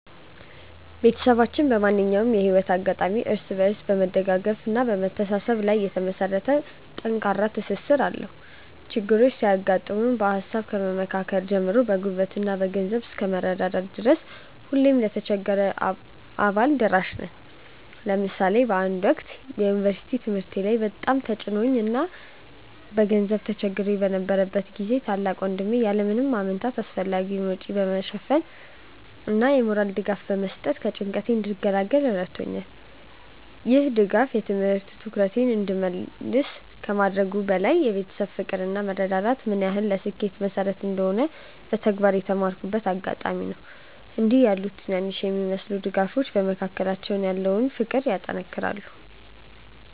ቤተሰባችን በማንኛውም የህይወት አጋጣሚ እርስ በርስ በመደጋገፍና በመተሳሰብ ላይ የተመሰረተ ጠንካራ ትስስር አለው። ችግሮች ሲያጋጥሙ በሃሳብ ከመመካከር ጀምሮ በጉልበትና በገንዘብ እስከ መረዳዳት ድረስ ሁልጊዜም ለተቸገረው አባል ደራሽ ነን። ለምሳሌ በአንድ ወቅት በዩኒቨርሲቲ ትምህርቴ ላይ በጣም ተጭኖኝ እና በገንዘብ ተቸግሬ በነበረበት ጊዜ ታላቅ ወንድሜ ያለ ምንም ማመንታት አስፈላጊውን ወጪ በመሸፈን እና የሞራል ድጋፍ በመስጠት ከጭንቀቴ እንድገላገል ረድቶኛል። ይህ ድጋፍ የትምህርት ትኩረቴን እንድመልስ ከማድረጉም በላይ የቤተሰብ ፍቅር እና መረዳዳት ምን ያህል ለስኬት መሰረት እንደሆነ በተግባር የተማርኩበት አጋጣሚ ነበር። እንዲህ ያሉ ትናንሽ የሚመስሉ ድጋፎች በመካከላችን ያለውን ፍቅር ያጠናክራሉ።